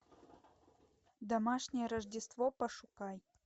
домашнее рождество пошукай